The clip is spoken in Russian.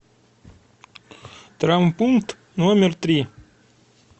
травмпункт номер три